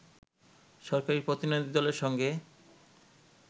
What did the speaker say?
সরকারি প্রতিনিধিদলের সঙ্গে